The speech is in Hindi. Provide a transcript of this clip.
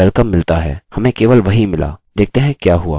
यदि मैं यहाँ क्लिक करता हूँ हमें welcome! मिलता है हमें केवल वही मिला देखते हैं क्या हुआ